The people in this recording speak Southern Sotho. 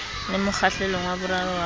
le mokgahlelong wa boraro wa